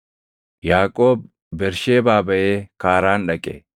Yaaqoob Bersheebaa baʼee Kaaraan dhaqe.